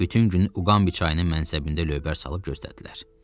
Bütün günü Uqambi çayının mənsəbində lövbər salıb gözlədilər.